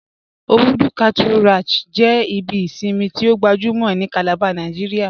Obùdú Cattle Ranch jẹ ibi ìṣinmi tí o gbàjúmọ̀ ni Calabar Nàìjíríà